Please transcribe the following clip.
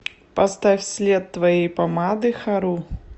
поставь след твоей помады хару